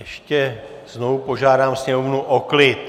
Ještě znovu požádám sněmovnu o klid.